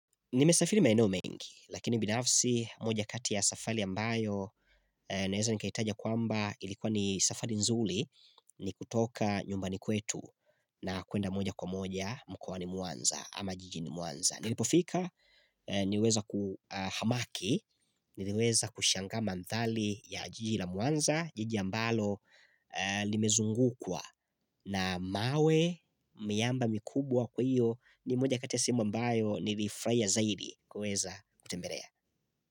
Nimesafiri maeno mengi, lakini binafsi moja kati ya safari ambayo naweza nikaitaja kwamba ilikuwa ni safari nzuli. Ni kutoka nyumbani kwetu na kuenda moja kwa moja mkoani Mwanza ama jijini Mwanza. Nilipofika niliweza kuhamaki, niliweza kushangaa mandhari ya jiji la Mwanza, jiji ambalo nimezungukwa na mawe miamba mikubwa kwa hiyo ni moja kati ya sehemu ambayo nilifurahia zaidi kuweza kutembelea.